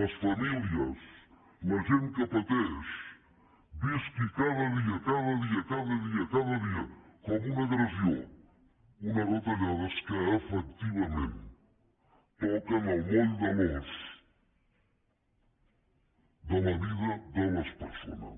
les famílies la gent que pateix visqui cada dia cada dia cada dia cada dia com una agressió unes retallades que efectivament toquen el moll de l’os de la vida de les persones